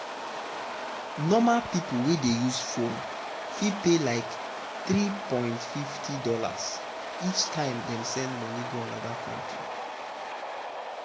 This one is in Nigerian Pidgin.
normal person wey dey use phone fit pay like $3.50 each time dem send money go another country.